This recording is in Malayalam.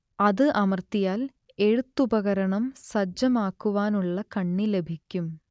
അത് അമർത്തിയാൽ എഴുത്തുപകരണം സജ്ജമാക്കുവാനുള്ള കണ്ണി ലഭിക്കും